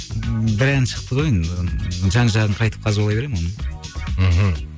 ммм бір ән шықты ғой енді жан жағын қайтіп қазбалай беремін оның мхм